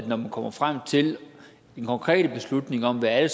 når man kommer frem til den konkrete beslutning om hvad